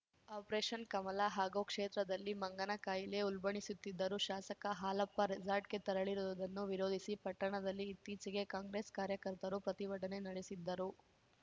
operation Kamala ಹಾಗೂ ಕ್ಷೇತ್ರದಲ್ಲಿ ಮಂಗನ ಕಾಯಿಲೆ ಉಲ್ಬಣಿಸುತ್ತಿದ್ದರೂ ಶಾಸಕ ಹಾಲಪ್ಪ ರೆಸಾರ್ಟ್‌ಗೆ ತೆರಳಿರುವುದನ್ನು ವಿರೋಧಿಸಿ ಪಟ್ಟಣದಲ್ಲಿ ಇತ್ತೀಚೆಗೆ ಕಾಂಗ್ರೆಸ್‌ ಕಾರ್ಯಕರ್ತರು ಪ್ರತಿಭಟನೆ ನಡೆಸಿದ್ದರು